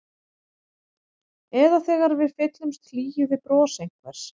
Eða þegar við fyllumst hlýju við bros einhvers.